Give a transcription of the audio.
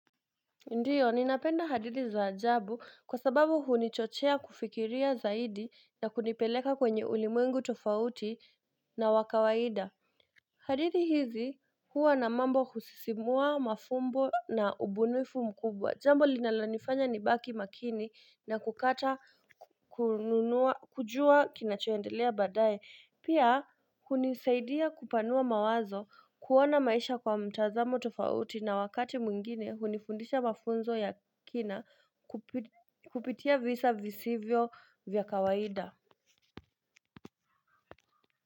Ndiyo, ninapenda hadithi za ajabu kwa sababu hunichochea kufikiria zaidi na kunipeleka kwenye ulimwengu tofauti na wakawaida. Hadithi hizi huwa na mambo husisimua, mafumbo na ubunifu mkubwa. Jambo linalonifanya nibaki makini na kukata kujua kinachoendelea baadaye. Pia hunisaidia kupanua mawazo, kuona maisha kwa mtazamo tofauti na wakati mwingine hunifundisha mafunzo ya kina kupitia visa visivyo vya kawaida.